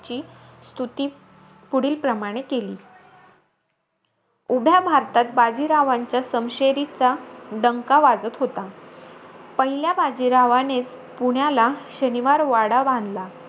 ची स्तुती पुढील प्रमाणे केली. उभ्या भारतात बाजीरावांच्या समशेरीचा डंका वाजत होता. पहिल्या बाजीरावानेचं पुण्याला शनिवार वाडा बांधला.